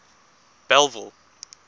bellville